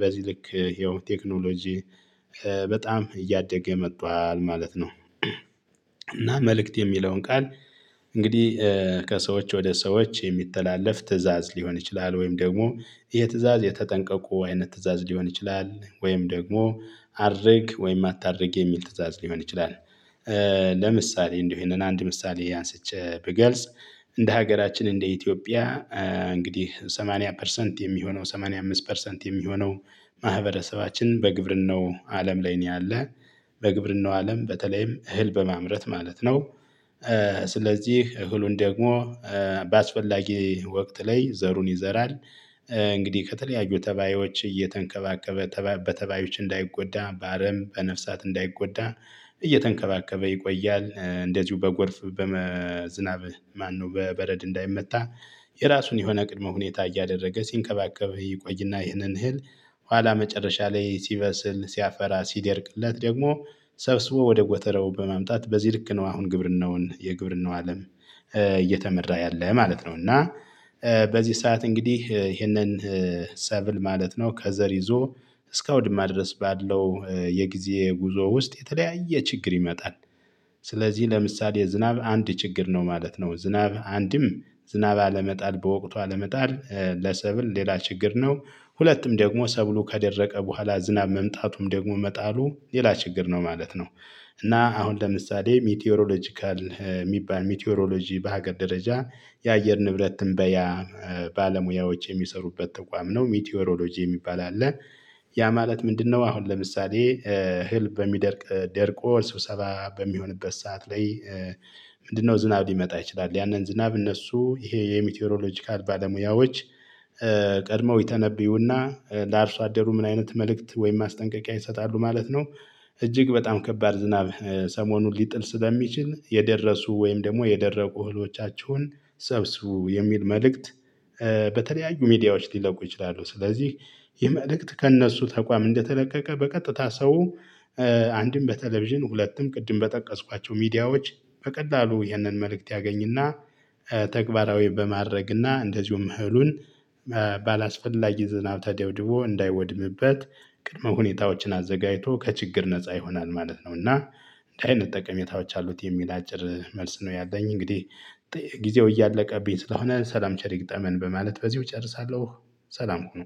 በዚህ ልክ ያው ቴክኖሎጂ በጣም እያደገ መጥቷል ነው። እና መልእክት የሚለውን ቃል እንግዲህ ከሰዎች ወደ ሰዎች የሚተላለፍ ትእዛዝ ሊሆን ይችላል፤ ወይም ደግሞ የትእዛዝ የተጠንቀቁ አይነት ትእዛዝ ሊሆን ይችላል፤ ወይም ደግሞ አድርግ ወይም አታድርግ የሚል ትእዛዝ ሊሆን ይችላል። ለምሳሌ እንዲሁ ይሄንን አንድ ምሳሌ አንስቼ ብገልጽ እንደ ሀገራችን እንደ ኢትዮጵያ እንግዲህ ሰማንያ ፐርሰንት የሚሆነው ሰማንያ አምስት ፐርሰንት የሚሆነው ማህበረሰባችን በግብርናው አለም ላይ ነው ያለ። በግብርናው አለም በተለይም እህል በማምረት ማለት ነው። ስለዚህ እህሉን ደግሞ በአስፈላጊ ወቅት ላይ ዘሩን ይዘራል። እንግዲህ ከተለያዩ ተባዮች እየተንከባከበ ተባ በተባዮች እንዳይጎዳ በአረም በነፍሳት እንዳይጎዳ እየተንከባከበ ይቆያል። እንደዚሁ በጎርፍ በመ ዝናብ ማነው በበረድ እንዳይመታ የራሱን የሆነ ቅድመ ሁኔታ እያደረገ ሲንከባከብ ይቆይና ይህንን እህል ኋላ መጨረሻ ላይ ሲበስል ሲያፈራ ሲደርቅለት ደግሞ ሰብስቦ ወደ ጎተራው በማምጣት በዚህ ልክ ነው አሁን ግብርናውን የግብርናው አለም እየተመራ ያለ ማለት ነው፤ እና በዚህ ሰዓት እንግዲህ ይሄንን ሰብል ማለት ነው ከዘር ይዞ እስከ አውድማ ድረስ ባለው የጊዜ ጉዞ ውስጥ የተለያየ ችግር ይመጣል። ስለዚህ ለምሳሌ ዝናብ አንድ ችግር ነው ማለት ነው። ዝናብ አንድም ዝናብ አለመጣል በወቅቱ አለመጣል ለሰብል ሌላ ችግር ነው፤ ሁለትም ደግሞ ሰብሉ ከደረቀ በኋላ ዝናብ መምጣቱም ደግሞ መጣሉ ሌላ ችግር ነው ማለት ነው፤ እና አሁን ለምሳሌ ሚቴዮሮሎጂካል የሚባል ሚቴዮሮሎጂ በሀገር ደረጃ የአየር ንብረት ትንበያ ባለሙያዎች የሚሰሩበት ተቋም ነው። ሚቲዮሮሎጂ የሚባል አለ። ያ ማለት ምንድነው አሁን ለምሳሌ እህል በሚደርቅ ደርቆ ስብሰባ በሚሆንበት ሰዓት ላይ ምንድነው ዝናብ ሊመጣ ይችላል። ያንን ዝናብ እነሱ ይሄ የሚትዮሮሎጂካል ባለሙያዎች ቀድመው ይተነብዩና ለአርሶ አደሩ ምን አይነት መልእክት ወይም ማስጠንቀቂያ ይሰጣሉ ማለት ነው፤ "እጅግ በጣም ከባድ ዝናብ ሰሞኑን ሊጥል ስለሚችል የደረሱ ወይም ደግሞ የደረቁ እህሎቻችሁን ሰብስቡ" የሚል መልእክት በተለያዩ ሚዲያዎች ሊለቁ ይችላሉ። ስለዚህ ይህ መልእክት ከእነሱ ተቋም እንደተለቀቀ በቀጥታ ሰው አንድም በቴሌቪዥን ሁለትም ቅድም በጠቀስኳቸው ሚዲያዎች በቀላሉ ይህንን መልእክት ያገኝና ተግባራዊ በማድረግና እንደዚሁም እህሉን ባላስፈላጊ ዝናብ ተደብድቦ እንዳይወድምበት ቅድመ ሁኔታዎችን አዘጋጅቶ ከችግር ነፃ ይሆናል ማለት ነው፤ እና እንዲህ አይነት ጠቀሜታዎች አሉት የሚል አጭር መልስ ነው ያለኝ እንግዲህ ጊዜው እያለቀብኝ ስለሆነ ሰላም ቸር ይግጠመን በማለት በዚሁ እጨርሳለሁ። ሰላም ሁኑ።